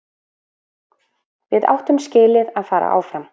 Við áttum skilið að fara áfram.